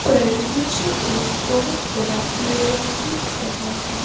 पर मुझे एक बहुत बड़ा एरिया दिख रहा है।